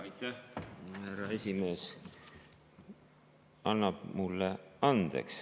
Härra esimees annab mulle andeks.